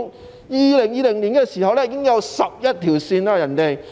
在2020年，深圳已經有11條線。